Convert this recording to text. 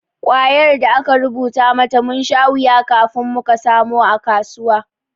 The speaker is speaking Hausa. Kwayar da aka rubuta mata, mun sha wuya kafin muka samu a kasuwa.